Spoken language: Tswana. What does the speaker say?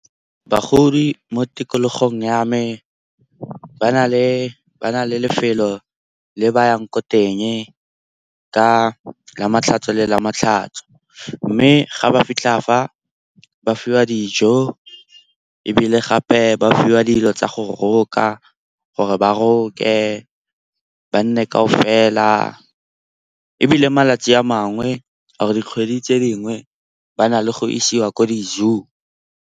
Bagodi mo tikologong ya me ba na le lefelo le ba yang ko teng ka lamatlhatso le lamatlhatso. Mme ga ba fitlha fa ba fiwa dijo ebile gape ba fiwa dilo tsa go roka gore ba roke, ba nne ka o fela. Ebile malatsi a mangwe or-e dikgwedi tse dingwe ba na le go isiwa ko di-zoo.